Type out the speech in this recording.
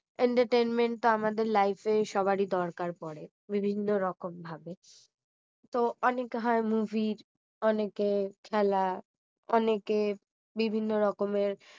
entertainment তো আমাদের life এ সবারই দরকার পড়ে বিভিন্ন রকম ভাবে তো অনেক হয় movie র অনেকের খেলা অনেকের বিভিন্ন রকমের